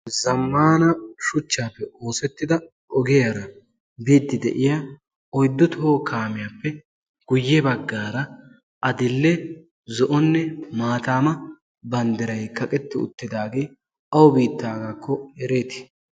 zammana shuchchaappe oosettida ogiyaara biiddi de'iya oyddu toho kaamiyaappe guyye baggaara adill"e zo'onne maataama banddiray kaqetti uttidaagee awu biittaagaakko ereetii